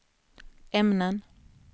ämnen